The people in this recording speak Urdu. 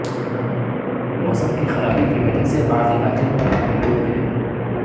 موسم کی خرابی کی وجہ سے بعض علاقے برف میں ڈوب گئے ہیں